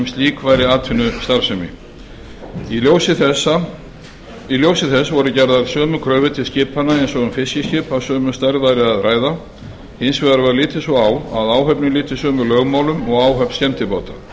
slík væri atvinnustarfsemi í ljósi þess voru gerðar sömu kröfur til skipanna eins og um fiskiskip af sömu stærð væri að ræða hins vegar var litið svo á að áhöfnin lyti sömu lögmálum og áhöfn skemmtibáta